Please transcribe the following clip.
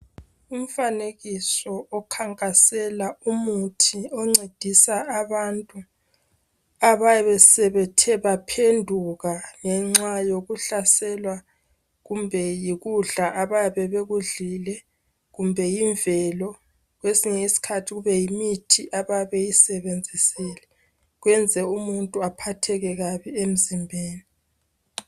Umfanekiso okhankasela umuthi oncedisa abantu ababesebethe baphenduka ngenxa yokuhlaselwa kumbe yikudla ababekudlile kumbe yimvelo kwesinye isikhathi kube yimithi ababeyisebenzisile kwenza umuntu aphatheke kabe emzimbeni.